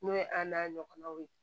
N'o ye an n'a ɲɔgɔnnaw ye